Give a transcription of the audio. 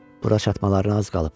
Bura çatmalarına az qalıb.